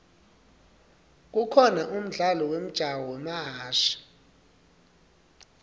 kukhona umdlalo wemjaho wamahashi